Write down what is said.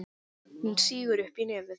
Hún sýgur upp í nefið.